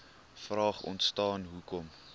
vraag ontstaan hoekom